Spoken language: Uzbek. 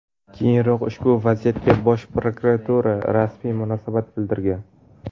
Keyinroq ushbu vaziyatga Bosh prokuratura rasmiy munosabat bildirgan .